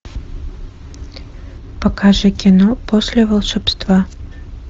покажи кино после волшебства